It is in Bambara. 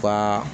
U ka